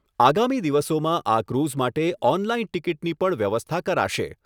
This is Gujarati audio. આગામી દિવસોમાં આ ક્રુઝ માટે ઓનલાઇન ટીકીટની પણ વ્યવસ્થા કરાશે